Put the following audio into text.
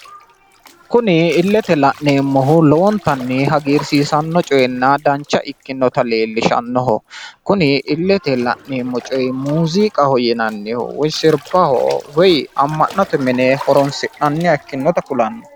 kuni illete la'neemmohu lowontanni hagiirsiisanno coyeenna dancha ikkinota leellishannoho kuni illetenni la'neemmohu muuziiqaho yinanniho woy sirbaho woy amma'note mine horonsi'naniha ikkasi kulanno.